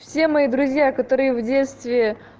все мои друзья которые в детстве